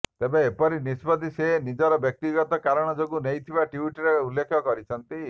ତେବେ ଏପରି ନିଷ୍ପତ୍ତି ସେ ନିଜର ବ୍ୟକ୍ତିଗତ କାରଣ ଯୋଗୁଁ ନେଇଥିବା ଟ୍ୱିଟରେ ଉଲ୍ଲେଖ କରିଛନ୍ତି